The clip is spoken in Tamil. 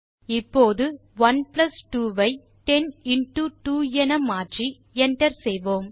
இப்போது 1 பிளஸ் 2 ஐ 10 இன்டோ 2 என மாற்றி enter செய்வோம்